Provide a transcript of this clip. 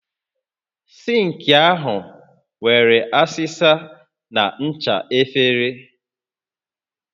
Sink ahụ nwere asịsa na ncha efere